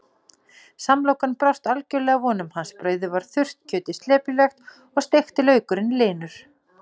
Samlokan brást algjörlega vonum hans, brauðið var þurrt, kjötið slepjulegt og steikti laukurinn linur.